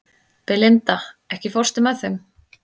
Belinda, ekki fórstu með þeim?